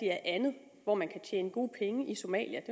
er andet hvor man kan tjene gode penge i somalia